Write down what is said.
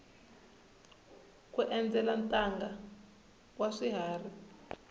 ku endzela ntanga wa swiharhi